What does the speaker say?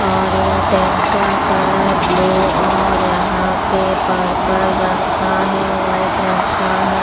और ये टेंट का कलर ब्लू और यहाँ पे पर्पल रंग का है वाइट रंग का है।